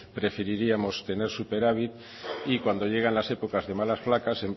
preferiríamos tener superávit y cuando llegan las épocas de vacas flacas